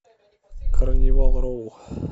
карнивал роу